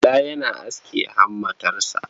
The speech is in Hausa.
Bala yana aske hammatarsa.